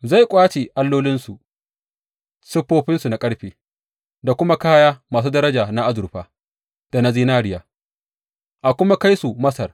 Zai ƙwace allolinsu, siffofinsu na ƙarfe da kuma kaya masu daraja na azurfa da na zinariya a kuma kai su Masar.